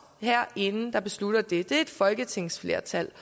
herinde der beslutter det det er et folketingsflertal